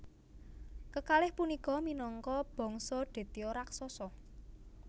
Kekalih punika minangka bangsa Detya raksasa